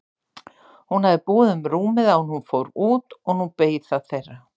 Hún hafði búið um rúmið áður en hún fór út og nú beið það þeirra.